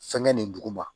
Fɛnkɛ nin duguma